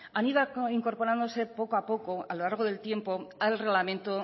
han ido incorporándose poco a poco a lo largo del tiempo al reglamento